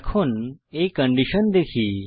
এখন এই কন্ডিশন দেখি